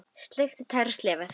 Sleikt tær og slefað.